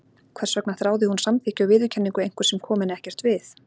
Hvers vegna þráði hún samþykki og viðurkenningu einhvers sem kom henni ekkert við?